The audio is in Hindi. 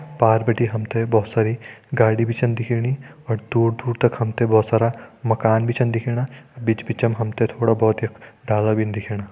पार बिटि हम तें भोत सारी गाड़ी भी छन दिखेणी और दूर दूर तक हम ते भोत सारा माकन भी छन दिखेणा बिच बिचम हम तें थोड़ा भोत यख डाला भिन दिखेणा।